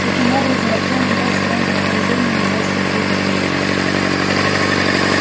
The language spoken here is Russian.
таким образом артём имел в своём распоряжении не больше двух дней